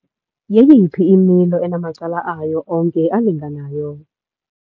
Yeyiphi imilo enamacala ayo onke alinganayo?